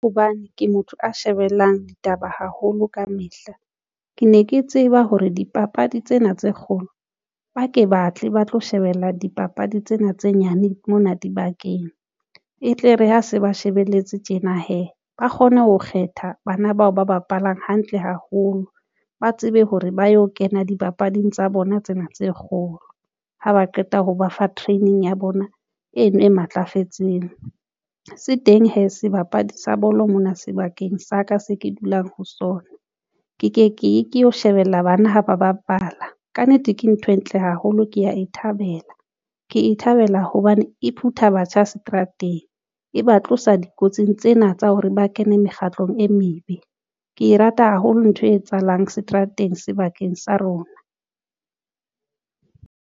Hobane ke motho a shebellang ditaba haholo kamehla, ke ne ke tseba hore dipapadi tsena tse kgolo ba ke batle ba tlo shebella dipapadi tsena tse nyane mona dibakeng e tle re ha se ba shebelletse tjena hee ba kgone ho kgetha bana bao ba bapalang hantle haholo ba tsebe hore ba yo kena dipapading tsa bona tsena tse kgolo ha ba qeta ho ba fa training ya bona eno e matlafetseng se teng hee sebapadi sa bolo mona sebakeng sa ka se ke dulang ho sona ke ye ke lo shebella bana ha ba bapala ka nnete ke ntho e ntle haholo ke ya e thabela ke e thabela hobane e phhutha batjha seterateng e ba tlosa dikotsing tsena tsa hore ba kene mekgatlong e mebe, ke e rata haholo ntho e etsahalang seterateng sebakeng sa rona.